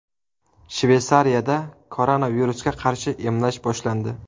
Shveysariyada koronavirusga qarshi emlash boshlandi.